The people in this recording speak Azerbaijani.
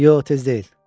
Yox, tez deyil.